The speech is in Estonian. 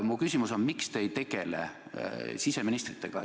Mu küsimus on: miks te ei tegele siseministritega?